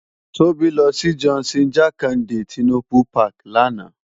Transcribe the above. Tobi lò si Johnson Jakande Tinubu pàki làná